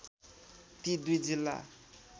ती दुई जिल्ला